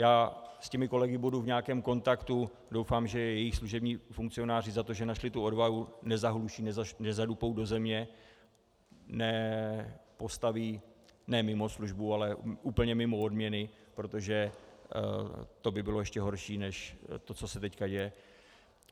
Já s těmi kolegy budu v nějakém kontaktu, doufám, že je jejich služební funkcionáři za to, že našli tu odvahu, nezahluší, nezadupou do země, nepostaví ne mimo službu, ale úplně mimo odměny, protože to by bylo ještě horší než to, co se teď děje.